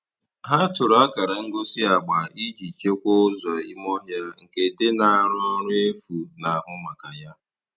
Ha tụrụ akara ngosi agba iji chekwaa ụzọ ime ọhịa nke dị na arụ ọrụ efu na-ahụ maka ya.